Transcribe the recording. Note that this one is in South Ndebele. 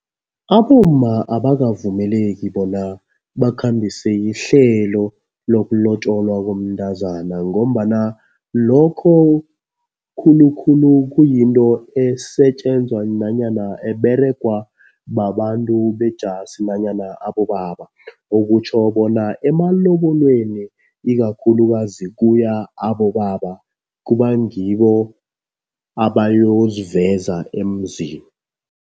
Abomma abakavumeleki bona bakhambise ihlelo lokulotjolwa komntazana ngombana lokho khulukhulu kuyinto esetjenzwa nanyana eberegwa babantu bejasi nanyana abobaba. Okutjho bona emalobolweni, ikakhulukazi kuya abobaba. Kuba ngibo abayoziveza emzini.